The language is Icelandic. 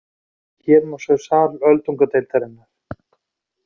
Hér má sjá sal öldungadeildarinnar.